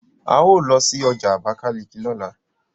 ào ló sí ọjà abakaliki lọla